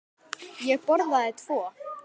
Ég borðaði tvo.